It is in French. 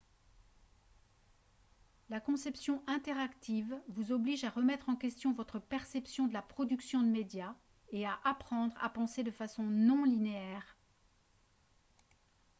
la conception interactive vous oblige à remettre en question votre perception de la production de médias et à apprendre à penser de façon non linéaire